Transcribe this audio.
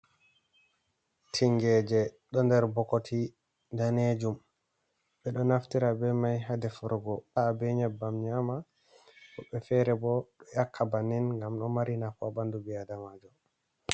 "Tingeje" do nder bokoti danejum ɓeɗo naftira be mai ha defirgo ha be nyebbam nyama woɓɓe fere bo do yakka bannin nyama ngam ɗo mari nafu ha bandu ɓi adamajo.